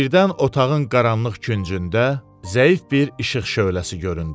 Birdən otağın qaranlıq küncündə zəif bir işıq şöhləsi göründü.